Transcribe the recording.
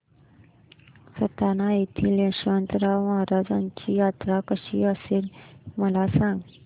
सटाणा येथील यशवंतराव महाराजांची यात्रा कशी असते मला सांग